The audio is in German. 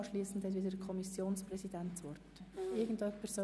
Anschliessend hat der Kommissionspräsident das Wort.